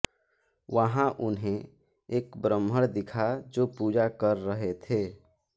वहां उन्हें एक ब्रह्मण दिखा जो पूजा कर रहे थे